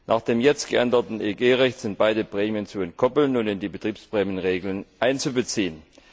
Nach dem jetzt geänderten EG Recht sind beide Prämien zu entkoppeln und in die Betriebsprämienregeln einzubeziehen.